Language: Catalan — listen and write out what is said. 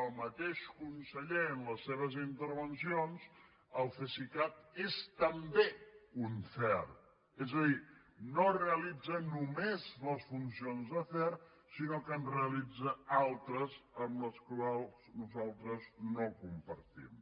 el mateix conseller en les seves intervencions el cesicat és també un cert és a dir no realitza només les funcions de cert sinó que en realitza altres que nosaltres no compartim